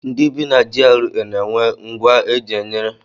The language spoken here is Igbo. Ndị bi na GRA na-enwe ngwa dum e ji enyere ndụ aka n'ogige ha